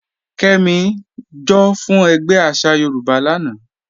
Kẹ́mí, jọ́ fún ègbé àṣà Yorùbá lána.